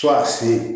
Fo k'a se